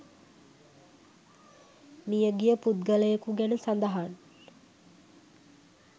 මිය ගිය පුද්ගලයෙකු ගැන සඳහන්